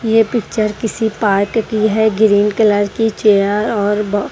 ये पिक्चर किसी पार्ट की है ग्रीन कलर की चेयर और ब--